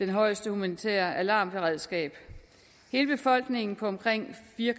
det højeste humanitære alarmberedskab hele befolkningen på omkring fire